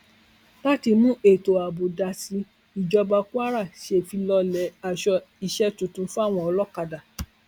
láti mú ètò ààbò dáa sí i ìjọba kwara ṣèfilọlẹ aṣọ iṣẹ tuntun fáwọn olókàdá